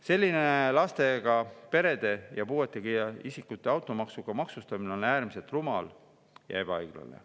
Selline lastega perede ja puuetega isikute automaksuga maksustamine on äärmiselt rumal ja ebaõiglane.